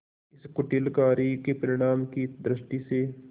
इस कुटिल कार्य के परिणाम की दृष्टि से